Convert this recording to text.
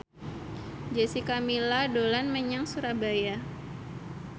Jessica Milla dolan menyang Surabaya